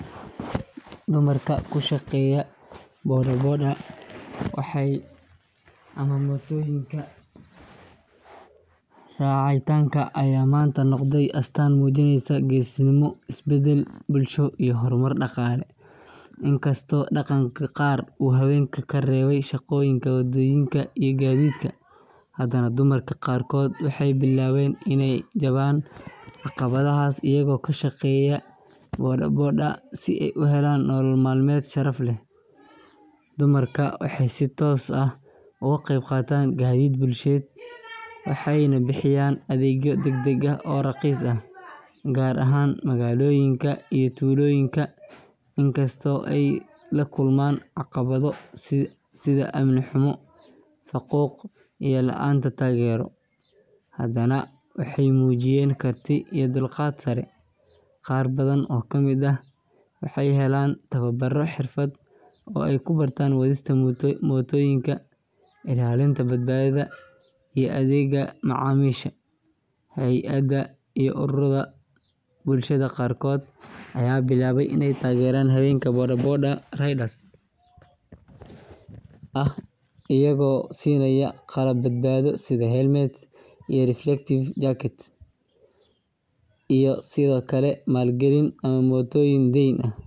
Dumarka ku shaqeeya bodaboda ama mootooyinka raacitaanka ayaa maanta noqday astaan muujinaysa geesinimo, isbeddel bulsho iyo horumar dhaqaale. Inkastoo dhaqanka qaar uu haweenka ka reebayay shaqooyinka waddooyinka iyo gaadiidka, haddana dumarka qaarkood waxay bilaabeen inay jabaan caqabadahaas iyaga oo ka shaqeeya bodaboda si ay u helaan nolol maalmeed sharaf leh. Dumarkan waxay si toos ah uga qayb qaataan gaadiid bulsheed, waxayna bixiyaan adeegyo degdeg ah oo raqiis ah gaar ahaan magaalooyinka iyo tuulooyinka. Inkastoo ay la kulmaan caqabado sida amni xumo, faquuq, iyo la’aanta taageero, haddana waxay muujiyeen karti iyo dulqaad sare. Qaar badan oo ka mid ah waxay helaan tababaro xirfadeed oo ay ku bartaan wadista mootooyinka, ilaalinta badbaadada iyo adeegga macaamiisha. Hay’adaha iyo ururada bulshada qaarkood ayaa bilaabay in ay taageeraan haweenka bodaboda riders ah iyaga oo siinaya qalab badbaado sida helmets iyo reflective jackets iyo sidoo kale maalgelin ama mootooyin deyn ah.